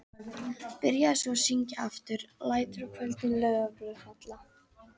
Byrjaði svo að syngja aftur: LÆTUR Á KVÖLDIN LAUFBLÖÐ FALLA.